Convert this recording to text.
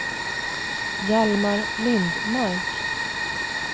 Hjalmar Lindmark